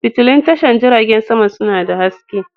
Fitulun tashar jiragen sama suna da haske.